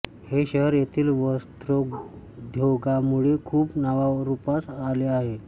हे शहर येथील वस्त्रोद्योगामुळे खूप नावारूपास आले आहे